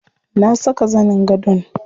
Na saka zanin gadon.